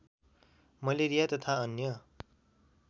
malaria तथा अन्य